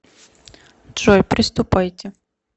джой приступайте